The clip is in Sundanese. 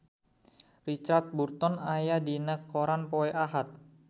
Richard Burton aya dina koran poe Ahad